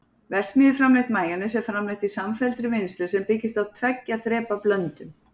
verksmiðjuframleitt majónes er framleitt í samfelldri vinnslu sem byggist á tveggja þrepa blöndun